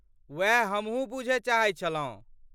ओएह हमहु बुझय चाहैत छलहुँ।